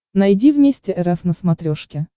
найди вместе рф на смотрешке